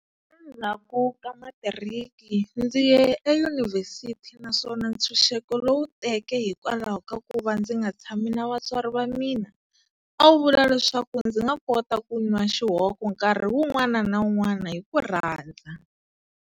Endzhaku ka matiriki, ndzi ye eyunivhesiti naswona ntshunxeko lowu teke hikwalaho ka ku va ndzi nga tshami na vatswari va mina, a wu vula leswaku ndzi nga kota ku nwa xihoko nkarhi wun'wana na wun'wana hi ku rhandza.